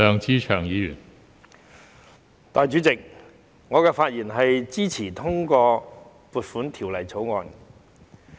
代理主席，我發言支持通過《2021年撥款條例草案》。